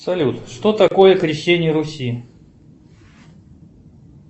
салют что такое крещение руси